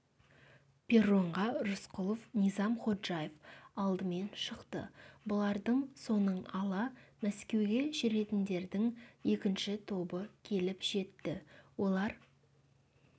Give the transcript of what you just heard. перронға рысқұлов низам ходжаев алдымен шықты бұлардың соңын ала мәскеуге жүретіндердің екінші тобы келіп жетті олар